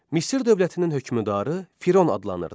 Misir dövlətinin hökmdarı Firon adlanırdı.